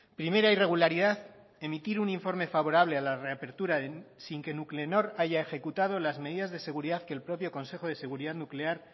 primera irregularidad emitir un informe favorable a la reapertura sin que nuclenor haya ejecutado las medidas de seguridad que el propio consejo de seguridad nuclear